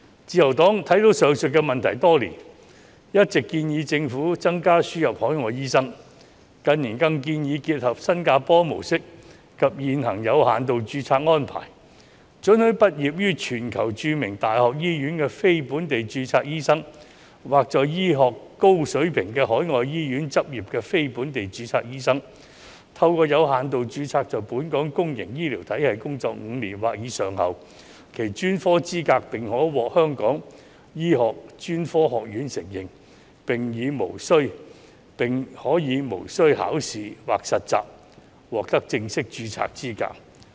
自由黨看到上述問題多年，一直建議政府增加輸入海外醫生，近年更建議結合新加坡模式及現行的有限度註冊安排，准許畢業於全球著名大學醫學院的非本地註冊醫生，或在高水平的海外醫院執業的非本地註冊醫生，透過有限度註冊在本港公營醫療體系工作5年或以上後，其專科資格便可獲香港醫學專科學院承認，並可無須考試或實習，獲得正式註冊的資格。